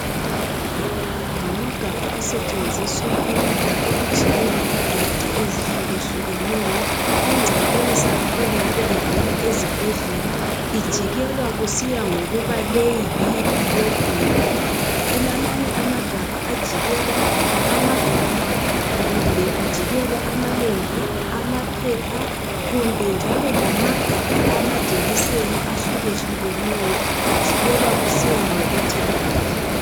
Ngamagabha asetshenziswa ukujikela idoti ezihluke hlukeneyo. Ingcekeza engabe ivela ezibhedlela ijikelwa kusiya ngokuba leyi yiphi lokhu uyikuphi. Kulamanye amagabha ajikelwa amagabha ,kumbe ajikelwa amalembu ,amaphepha kumbe njalo lamagabha amajekiseni ahluke hlukeneyo ajikelwa kusiya ngokuthi ngaphi .